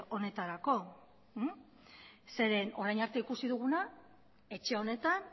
honetarako zeren orain arte ikusi duguna etxe honetan